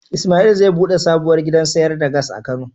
Ismail zai bude sabuwar gidan sayar da Gas a kano.